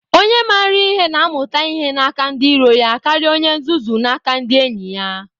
Onye maara ihe na-amụta ihe n'aka ndị iro ya karịa onye nzuzu n'aka ndị enyi ya.